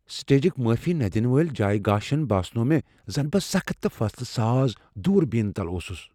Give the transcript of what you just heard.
سٹیجِكہِ مٲفی نہٕ دِنہٕ وٲلہِ جایہ گاشن باسنوو مے٘ زن بہٕ سخت تہٕ فٲصلہٕ ساز دوُر بینہِ تل اوسٗس ۔